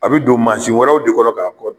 A bi don mansin wɛrɛw de kɔnɔ k'a fɔ.